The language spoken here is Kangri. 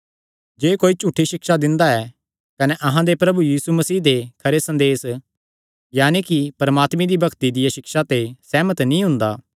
जे कोई झूठी सिक्षा दिंदा ऐ कने अहां दे प्रभु यीशु मसीह दे खरे संदेस यानकि परमात्मे दी भक्ति दिया सिक्षा ते सेहमत नीं हुंदा